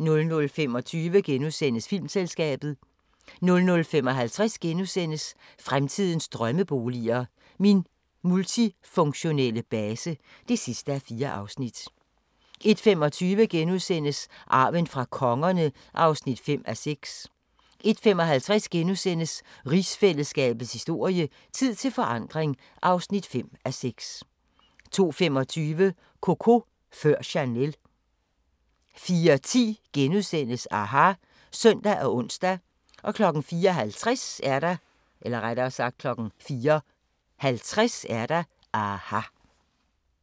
00:25: Filmselskabet * 00:55: Fremtidens drømmeboliger: Min multifunktionelle base (4:4)* 01:25: Arven fra kongerne (5:6)* 01:55: Rigsfællesskabets historie: Tid til forandring (5:6)* 02:25: Coco før Chanel 04:10: aHA! *(søn og ons) 04:50: aHA!